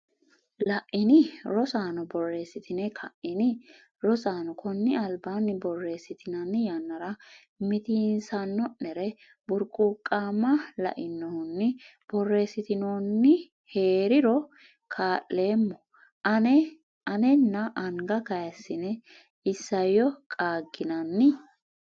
La’ini? Rosaano borreessitine ka’ini? Rosaano konni albaanni Borreessitinanni yannara mitiinsanno’neri burquuqama lainohunni borreessitinoonni hee’riro kaa’leemmo a’nena anga kayissine isayyo qaagginanni?